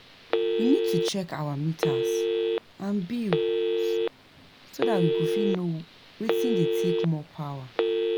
we need to check our meters and bills so dat we go fit know wetin dey take more power